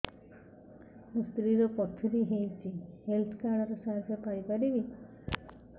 ମୋ ସ୍ତ୍ରୀ ର ପଥୁରୀ ହେଇଚି ହେଲ୍ଥ କାର୍ଡ ର ସାହାଯ୍ୟ ପାଇପାରିବି